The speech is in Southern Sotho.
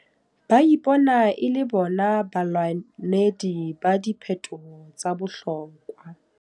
Ba ipona e le bona balwanedi ba diphetoho tsa bohlokwa.